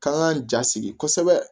K'an k'an jasigi kosɛbɛ